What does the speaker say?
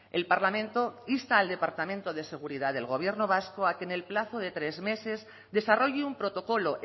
el parlamento insta al departamento de seguridad del gobierno vasco a que en el plazo de tres meses desarrolle un protocolo